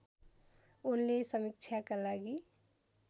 उनले समीक्षाका लागि